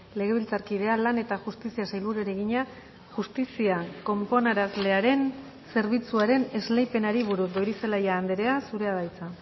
legebiltzarkidea lan eta justizia sailburuari egina justizia konponarazlearen zerbitzuaren esleipenari buruz goirizelaia andrea zurea da hitza